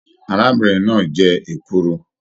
Arábìnrin náà jẹ èkuru.